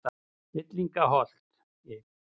Villingaholti